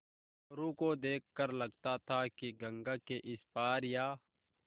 मोरू को देख कर लगता था कि गंगा के इस पार या